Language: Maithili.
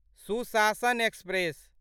सुशासन एक्सप्रेस